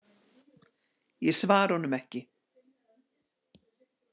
Ég svara honum ekki.